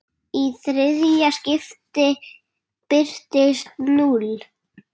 Í þriðja skiptið birtist núll.